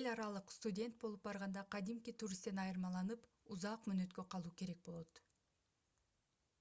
эл аралык студент болуп барганда кадимки туристтен айырмаланып узак мөөнөткө калуу керек болот